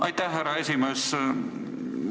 Aitäh, härra esimees!